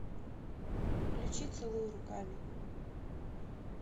включи целуй руками